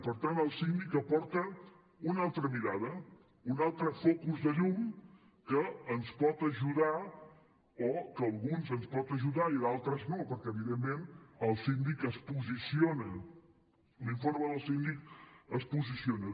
per tant el síndic aporta una altra mirada un altre focus de llum que ens pot ajudar o que a alguns ens pot ajudar i a d’altres no perquè evidentment el síndic es posiciona l’informe del síndic es posiciona